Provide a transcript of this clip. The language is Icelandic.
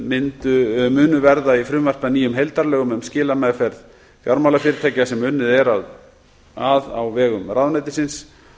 myndum munu verða í frumvarpi að nýjum heildarlögum um skilameðferð fjármálafyrirtækja sem unnið er að á vegum ráðuneytisins